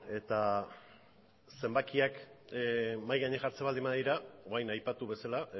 eta zenbakiak mahai gainean jartzen baldin badira orain aipatu bezala